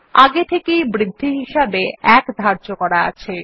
আগে থেকেই বৃদ্ধি হিসাবে 1 ধার্য করা আছে